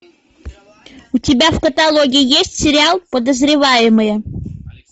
у тебя в каталоге есть сериал подозреваемые